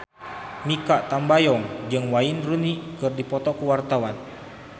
Mikha Tambayong jeung Wayne Rooney keur dipoto ku wartawan